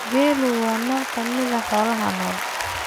Geelu waa nooc ka mid ah xoolaha nool.